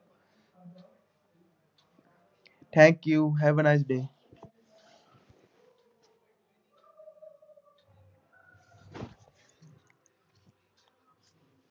thank you, have a nice day